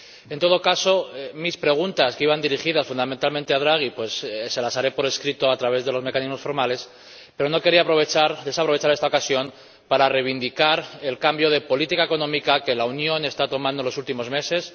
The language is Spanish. En todo caso, mis preguntas, que iban dirigidas fundamentalmente a Draghi, se las haré por escrito a través de los mecanismos formales, pero no quería desaprovechar esta ocasión para reivindicar el cambio de política económica que la Unión está tomando en los últimos meses